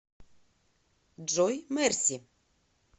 джой мерси